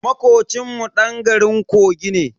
Makocin mu dan garin kogi ne.